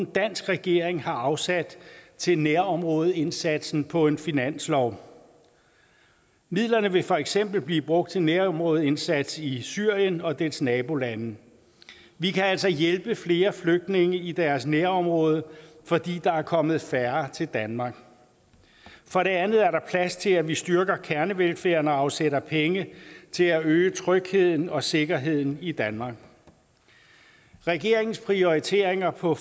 dansk regering har afsat til nærområdeindsatsen på en finanslov midlerne vil for eksempel blive brugt til nærområdeindsats i syrien og dets nabolande vi kan altså hjælpe flere flygtninge i deres nærområde fordi der er kommet færre til danmark for det andet er der plads til at vi styrker kernevelfærden og afsætter penge til at øge trygheden og sikkerheden i danmark regeringens prioriteringer på